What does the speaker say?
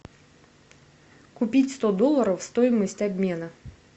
купить сто долларов стоимость обмена